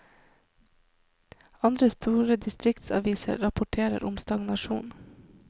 Andre store distriktsaviser rapporterer om stagnasjon.